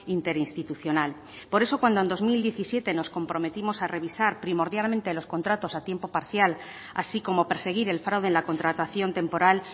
interinstitucional por eso cuando en dos mil diecisiete nos comprometimos a revisar primordialmente los contratos a tiempo parcial así como perseguir el fraude en la contratación temporal